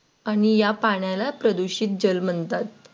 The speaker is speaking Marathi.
आणि या पाण्याला प्रदूषित जल म्हणतात.